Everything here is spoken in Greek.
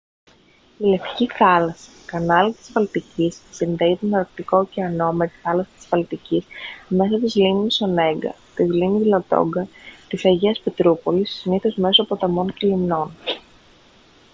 η λευκή θάλασσα κανάλι της βαλτικής συνδέει τον αρκτικό ωκεανό με τη θάλασσα της βαλτικής μέσω της λίμνης ονέγκα της λίμνης λαντόγκα της αγίας πετρούπολης συνήθως μέσω ποταμών και λιμνών